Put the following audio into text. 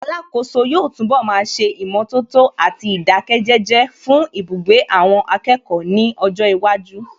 Alákòóso yóò túnbọ̀ máa ṣe ìmọ̀tótó àti ìdáké jẹ́jẹ́ fún ibugbe àwọn akẹ́kọ̀ọ́ ní ọjọ́ iwájú